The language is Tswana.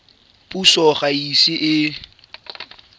puso ga e ise e